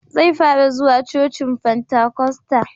Zai fara zuwa cocin fantakosta